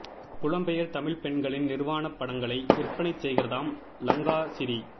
புலம்பெயர் தமிழ்ப் பெண்களின் நிர்வாணப் படங்களை விற்பனை செய்கிறதாம் லங்காசிறி